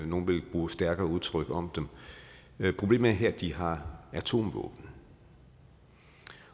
nogle ville bruge stærkere udtryk om dem men problemet er her at de har atomvåben